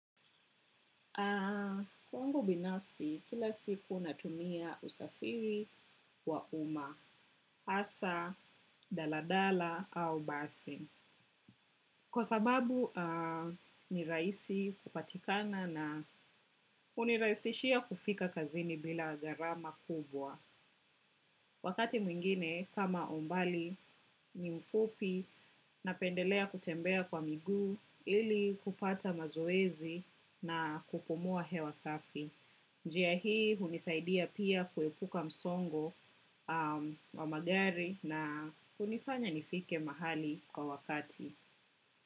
Kwangu binafsi, kila siku natumia usafiri wa uma, hasa, daladala, au basi. Kwa sababu, ni rahisi kupatikana na hunirahisishia kufika kazini bila gharama kubwa. Wakati mwingine, kama umbali, ni mfupi, napendelea kutembea kwa migu, ili kupata mazowezi na kupumua hewa safi. Njia hii hunisaidia pia kuepuka msongo wa magari na unifanya nifike mahali kwa wakati.